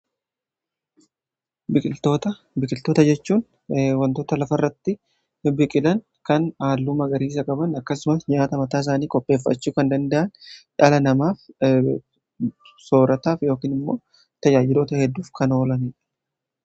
biqiltoota jechuun wantoota lafa irratti bibbiqilan kan haalluu magariisa qaban akkasumas nyaata mataa isaanii qopheeffachuu kan danda'an, dhala namaaf soorataaf yookin immoo tajaajiloota hedduuf kan oolan.